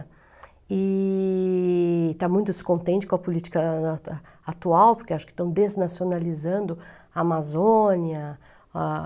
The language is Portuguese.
E está muito descontente com a política atual, porque acho que estão desnacionalizando a Amazônia. Ah